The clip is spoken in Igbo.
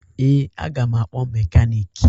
Ee, aga m akpọ mekaniiki